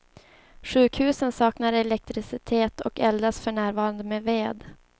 Sjukhusen saknar elektricitet och eldas för närvarande med ved.